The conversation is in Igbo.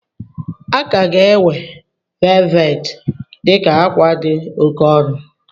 A ka ga-ewe velvet dị ka akwa dị oke ọnụ.